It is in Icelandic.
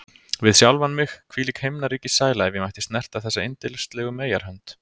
Við sjálfan mig: Hvílík himnaríkissæla, ef ég mætti snerta þessa yndislegu meyjarhönd!